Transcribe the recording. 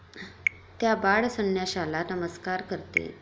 त्या बाळ संन्याशाला नमस्कार करते.